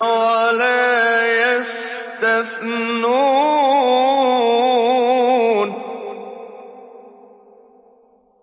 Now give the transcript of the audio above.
وَلَا يَسْتَثْنُونَ